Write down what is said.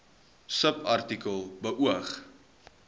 subartikel beoog